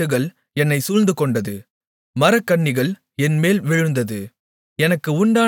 பாதாளக் கட்டுகள் என்னைச் சூழ்ந்து கொண்டது மரணக்கண்ணிகள் என்மேல் விழுந்தது